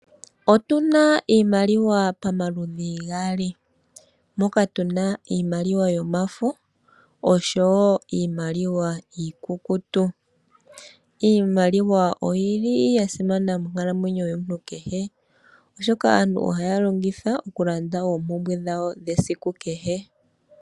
Otuna iimaliwa pamaludhi gaali, moka tu na iimaliwa yomafo oshowo iimaliwa iikukutu. Iimaliwa oyi li ya simana monkalamwenyo yomuntu kehe, oshoka aantu ohaya longitha okulanda oompumbwe dhawo dhesiku kehe.